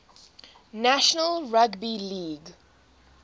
national rugby league